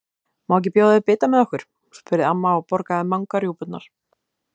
Má ekki bjóða þér bita með okkur? spurði amma og borgaði Manga rjúpurnar.